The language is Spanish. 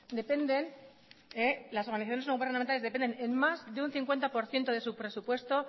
dependen en más de un cincuenta por ciento de su presupuesto